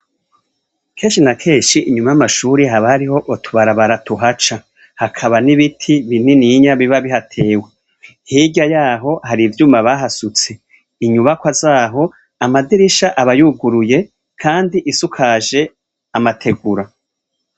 Kenshi na kenshi inyuma y'amashuri haba hariho utubarabara tuhaca. Hakaba n'ibiti binini biba bihatewe hirya yaho, hari ivyuma bahasutse. Inyubako zaho amadirisha abayuguruye kandi isukaje amategura.